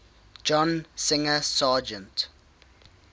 john singer sargent